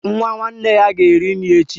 Nwa nwanne ya ga-eri nri echi